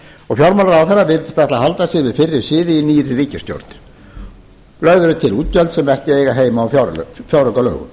og fjármálaráðherra virðist ætla að halda sér við fyrri siði í nýrri ríkisstjórn lögð eru til útgjöld sem ekki eiga heima í fjáraukalögum